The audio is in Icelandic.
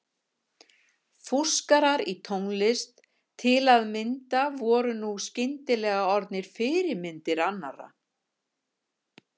Fúskarar í tónlist til að mynda voru nú skyndilega orðnir fyrirmyndir annarra.